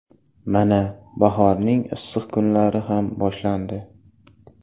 Mana, bahorning issiq kunlari ham boshlandi.